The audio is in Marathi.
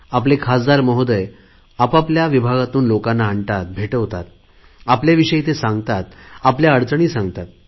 आपले खासदार महोदय आपआपल्या विभागातून लोकांना आणतात भेटवतात आपल्या विषयी ते सांगतात आपल्या अडचणी सांगतात